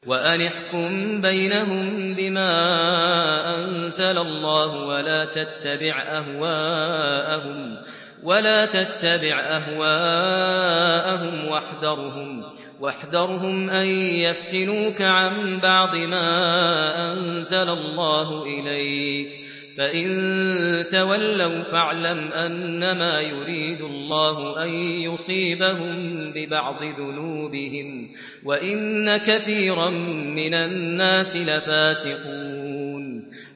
وَأَنِ احْكُم بَيْنَهُم بِمَا أَنزَلَ اللَّهُ وَلَا تَتَّبِعْ أَهْوَاءَهُمْ وَاحْذَرْهُمْ أَن يَفْتِنُوكَ عَن بَعْضِ مَا أَنزَلَ اللَّهُ إِلَيْكَ ۖ فَإِن تَوَلَّوْا فَاعْلَمْ أَنَّمَا يُرِيدُ اللَّهُ أَن يُصِيبَهُم بِبَعْضِ ذُنُوبِهِمْ ۗ وَإِنَّ كَثِيرًا مِّنَ النَّاسِ لَفَاسِقُونَ